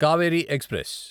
Kaveri express